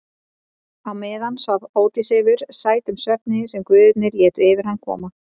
Á meðan svaf Ódysseifur sætum svefni sem guðirnir létu yfir hann koma.